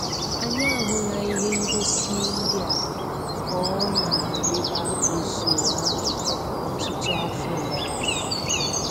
Anyị ahụla ihe ngosi ndị a ka ọ na-arịba n'usoro ahụ ọtụtụ afọ gara aga.